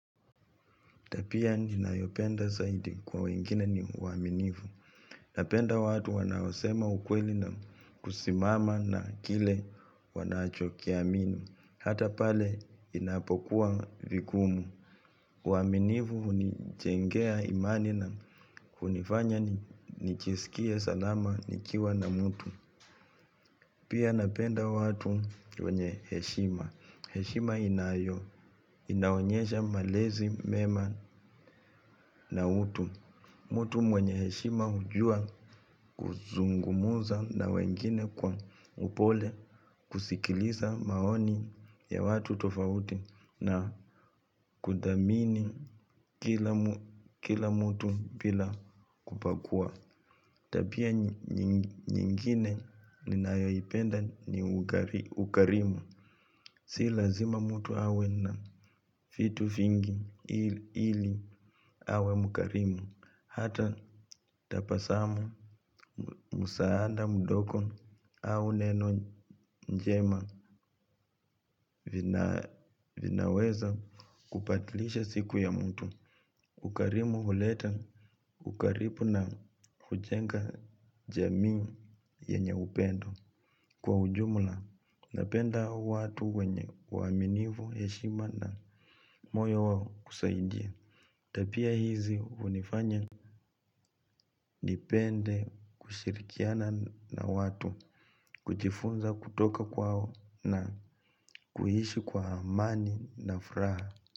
Tabia ninayopenda zaidi kwa wengine ni uaminifu. Napenda watu wanaosema ukweli na kusimama na kile wanachokiamini. Hata pale inapokuwa vigumu uaminifu hunijengea imani na kunifanya nijiskie salama nikiwa na mtu. Pia napenda watu wenye heshima. Heshima inaonyesha malezi mema na utu. Mtu mwenye heshima hujua kuzungumza na wengine kwa upole kusikiliza maoni ya watu tofauti na kuthamini kila mtu bila kubagua. Tabia nyingine ninayoipenda ni ukarimu. Si lazima mtu awe na vitu vingi ili awe mkarimu. Hata tabasamu msaada mdogo au neno njema vinaweza kubadilisha siku ya mtu. Ukarimu huleta ukaribu na kujenga jamii yenye upendo. Kwa ujumla, napenda watu wenye uaminifu heshima na moyo wao kusaidia. Tabia hizi hunifanya nipende kushirikiana na watu, kujifunza kutoka kwao na kuishi kwa amani na furaha.